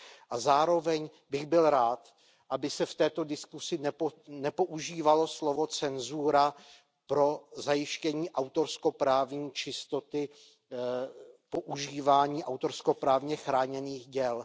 A zároveň bych byl rád, aby se v této diskusi nepoužívalo slovo cenzura pro zajištění autorskoprávní čistoty používání autorskoprávně chráněných děl.